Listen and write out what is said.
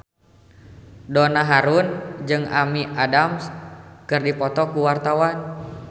Donna Harun jeung Amy Adams keur dipoto ku wartawan